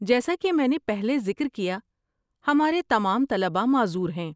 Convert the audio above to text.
جیسا کہ میں نے پہلے ذکر کیا، ہمارے تمام طلباء معذور ہیں۔